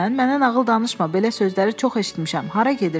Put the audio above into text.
Mənə nağıl danışma, belə sözləri çox eşitmişəm.